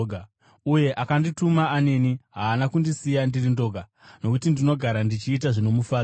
Uyo akandituma aneni; haana kundisiya ndiri ndoga, nokuti ndinogara ndichiita zvinomufadza.”